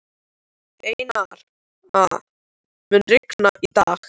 Einara, mun rigna í dag?